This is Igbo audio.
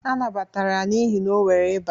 A nabatara ya n'ihi na o nwere eba